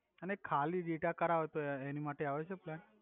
અને ખાલી ડેટા કરાવો તો એની માટે આવે છે પ્લાન